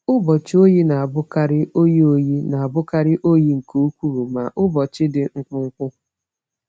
Ụbọchị oyi na-abụkarị oyi oyi na-abụkarị oyi nke ukwuu, ma ụbọchị dị mkpụmkpụ.